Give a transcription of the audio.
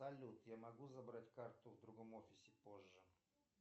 салют я могу забрать карту в другом офисе позже